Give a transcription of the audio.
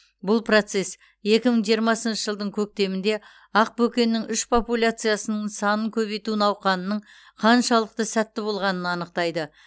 бұл процесс екі мың жиырмасыншы жылдың көктемінде ақбөкеннің үш популяциясының санын көбейту науқанының қаншалықты сәтті болғанын анықтайды